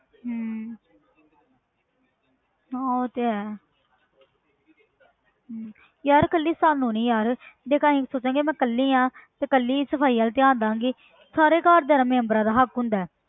ਹਮ ਹਾਂ ਉਹ ਤੇ ਹੈ ਹਮ ਯਾਰ ਇਕੱਲੀ ਸਾਨੂੰ ਨੀ ਯਾਰ ਦੇਖ ਅਸੀਂ ਸੋਚਾਂਗੇ ਮੈਂ ਇਕੱਲੀ ਹਾਂ ਤੇ ਇਕੱਲੀ ਹੀ ਸਫ਼ਾਈ ਵੱਲ ਧਿਆਨ ਦੇਵਾਂਗੀ ਸਾਰੇ ਘਰਦਿਆਂ ਦਾ ਮੈਂਬਰਾਂ ਦਾ ਹੱਕ ਹੁੰਦਾ ਹੈ